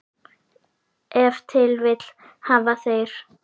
Ef til vill hafa þeir.